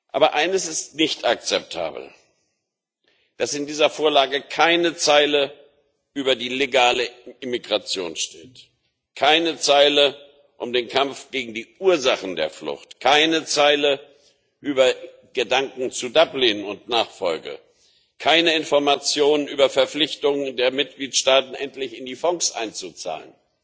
Aber eines ist nicht akzeptabel, nämlich dass in dieser Vorlage keine Zeile über die legale Immigration steht, keine Zeile über den Kampf gegen die Ursachen der Flucht, keine Zeile über Gedanken zu Dublin und Nachfolge, keine Informationen über Verpflichtungen der Mitgliedstaaten, endlich in die Fonds einzuzahlen.